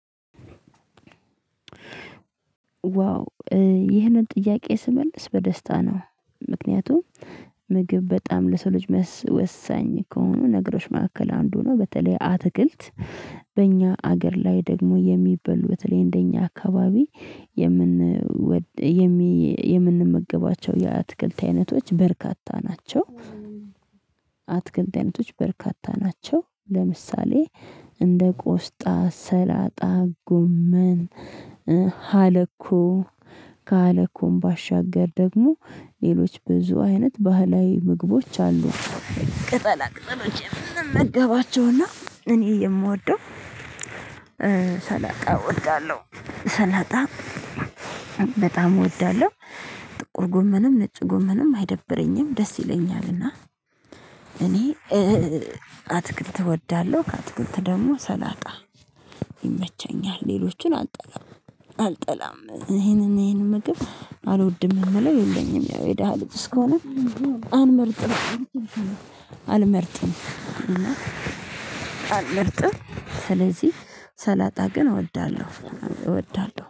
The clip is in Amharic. ዋው ይህንን ጥያቄ ስመልስ በደስታ ነው። ምክንያቱም ምግብ በጣም ለሰው ልጅ ወሳኝ ከሆኑ ነገሮች መካከል አንዱ ነው። በተለይ አትክልት። በእኛ ሀገር ላይ ደግሞ የሚበሉት በተለይ እንደእኛ አካባቢ የምን የምንመገባቸው የአትክልት አይነቶች በርካታ ናቸው። አትክልት አይነቶች በርካታ ናቸው ለምሳሌ እንደ ቆስጣ ሰላጣ ጎመን። ሀለኮ ከሃለኮም ባሻገር ደግሞ ሌሎች ብዙ አይነት ባህላዊ ምግቦች አሉ። ቅጠላ ቅጠሎች የምመገባቸውና እኔ የምወደው። ሰላጣ እወዳለሁ። ሰላጣ በጣም እወዳለሁ። ጥቁር ጎመንም ነጭ ጎመንም አይደብረኝም ደስ ይለኛልና። እኔ አትክልት እወዳለሁ ከአትክልት ደግሞ ሰላጣ ይመቸኛል ሌሎችን አልጠላም። አልጠላም ይሄንን ይሄንን ምግብ አልወድም የምለው የለኝም። ያው የደሃ ልጅ እስከሆንን አንልመርጥም። አልመርጥም እና አልመርጥም ስለዚህ ሰላጣ ግን እወዳለሁ እወዳለሁ